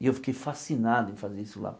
E eu fiquei fascinado em fazer isso lá.